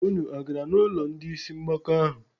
Unu agara n'ụlọ ndị isi mgbaka ahụ?